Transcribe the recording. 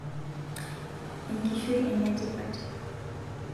enkishui enetipat